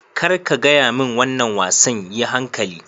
Kar ka gaya min wannan wasan!yi hankali.